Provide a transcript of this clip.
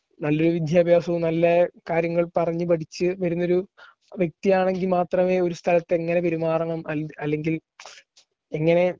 നല്ലൊരു വിദ്യാഭ്യാസവും നല്ല കാര്യങ്ങൾ പറഞ്ഞു പഠിച്ചു വരുന്നൊരു വ്യക്തിയാണെങ്കിൽ മാത്രമേ ഒരു സ്ഥലത്തെങ്ങനെ പെരുമാറണം അല്ലെങ്കിൽ എങ്ങനെ